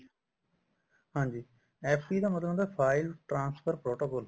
ਹਾਂਜੀ FTP ਮਤਲਬ ਹੁੰਦਾ file transfer protocol